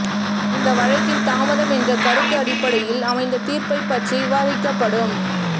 இந்த வழக்கில் தாமதம் என்ற கருத்து அடிப்படையில் அமைந்த தீர்ப்பு பற்றி விவாதிக்கப்படும்